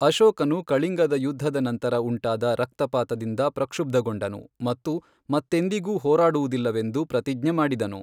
ಅಶೋಕನು ಕಳಿಂಗದ ಯುದ್ಧದ ನಂತರ ಉಂಟಾದ ರಕ್ತಪಾತದಿಂದ ಪ್ರಕ್ಷುಬ್ಧಗೊಂಡನು ಮತ್ತು ಮತ್ತೆಂದಿಗೂ ಹೋರಾಡುವುದಿಲ್ಲವೆಂದು ಪ್ರತಿಜ್ಞೆ ಮಾಡಿದನು.